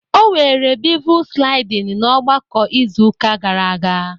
o were bevel sliding na ogbako izu uka gara aga